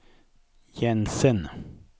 Jensen